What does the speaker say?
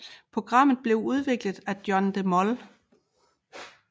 Programmet blev udviklet af John de Mol